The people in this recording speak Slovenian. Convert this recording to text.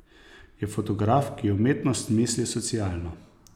Je fotograf, ki umetnost misli socialno.